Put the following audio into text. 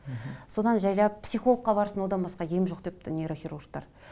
содан жайлап психологқа барсын одан басқа ем жоқ депті нейрохирургтар